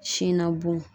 Sin na bon